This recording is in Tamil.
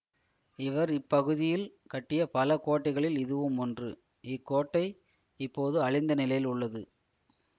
இவர் இப்பகுதியில் கட்டிய பல கோட்டைகளிள் இதுவும் ஒன்று இக்கோட்டை இப்போது அழிந்த நிலையில் உள்ளது